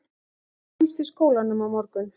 Sjáumst í skólanum á morgun